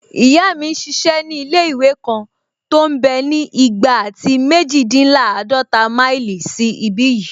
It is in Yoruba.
Ìyá mi n ṣiṣẹ́ ní ilé-ìwé kan tó mbẹ́ ní igba àti méjìdínláàdọ́ta máìlì sí ìbi yìí